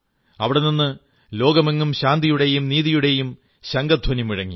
അവിടെ നിന്ന് ലോകമെങ്ങും ശാന്തിയുടെയും നീതിയുടേയും ശംഖധ്വനി മുഴങ്ങി